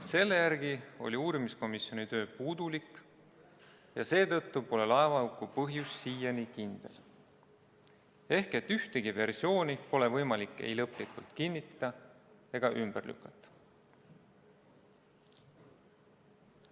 Selle järgi oli uurimiskomisjoni töö puudulik ja seetõttu pole laevahuku põhjus siiani selge, s.t ühtegi versiooni pole võimalik ei lõplikult kinnitada ega ümber lükata.